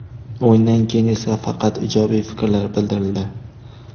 O‘yindan keyin esa faqat ijobiy fikrlar bildirildi.